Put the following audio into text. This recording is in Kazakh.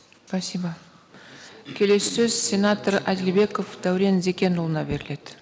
спасибо келесі сөз сенатор әділбеков дәурен зекенұлына беріледі